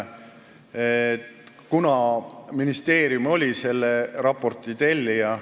Ministeerium oli selle raporti tellija.